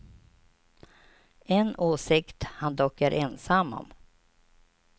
En åsikt han dock är ensam om.